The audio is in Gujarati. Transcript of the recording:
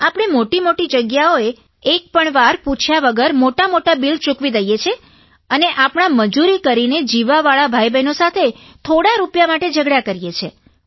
આપણે મોટીમોટી જગ્યાઓએ એકપણ વાર પૂછ્યા વગર મોટામોટા બિલ ચૂકવી દઇએ છીએ અને આપણાં મજૂરી કરીને જીવવાવાળા ભાઇબહેનો સાથે થોડાં રૂપિયા માટે ઝઘડા કરીએ છીએ